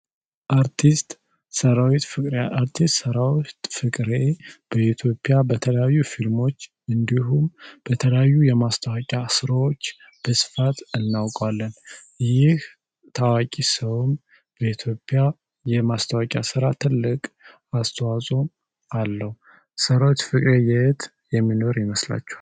አርቲስት ሰራዊት ፍቅሬ አርቲስት ሠራዊት ፍቅሬ በኢትዮጵያ በተለያዩ ፊልሞች እንዲሁም በተለያዩ የማስታወቂያ ስራዎች እናውቃለን ይህ ታዋቂ ሰው በኢትዮጵያ የማስታወቂያ ስራ ትልቅ አስተዋጽኦ አለው ሰራዊት የሚኖር ይመስላል